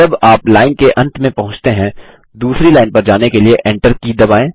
जब आप लाइन के अंत में पहुँचते हैं दूसरी लाइन पर जाने के लिए एंटर की दबाएँ